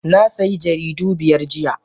Na sayi jaridu biyar jiya